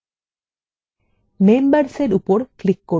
membersএর উপর click করুন